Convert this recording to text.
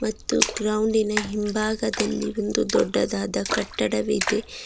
ಮತ್ತು ಗ್ರೌಂಡಿನ ಹಿಂಭಾಗದಲ್ಲಿ ಒಂದು ದೊಡ್ಡದಾದ ಕಟ್ಟಡವಿದೆ.